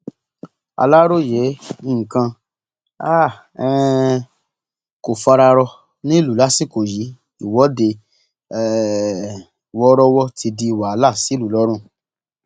aláròye nǹkan um um kò fara rọ nílùú lásìkò yìí ìwọde um wọọrọwọ ti di wàhálà sílùú lọrun